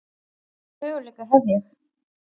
Hvaða möguleika hef ég?